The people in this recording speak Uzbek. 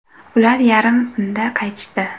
Ular yarmi tunda qaytishdi.